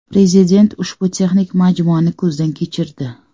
Prezident ushbu texnik majmuani ko‘zdan kechirdi.